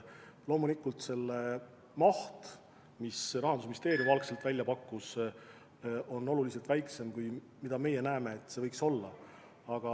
Loomulikult selle maht, mis Rahandusministeerium algselt välja pakkus, on oluliselt väiksem kui see, mis meie arvates võiks olla.